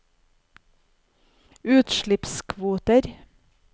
utslippskvoter